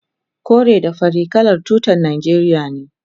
kore da fari kalan tutar najeriya ne